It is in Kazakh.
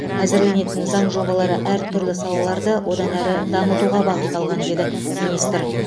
әзірленетін заң жобалары әртүрлі салаларды одан әрі дамытуға бағытталған деді министр